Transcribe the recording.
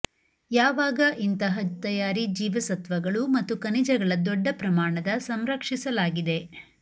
ಯಾವಾಗ ಇಂತಹ ತಯಾರಿ ಜೀವಸತ್ವಗಳು ಮತ್ತು ಖನಿಜಗಳ ದೊಡ್ಡ ಪ್ರಮಾಣದ ಸಂರಕ್ಷಿಸಲಾಗಿದೆ